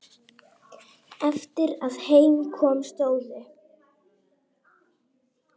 Eftir að heim kom stóðu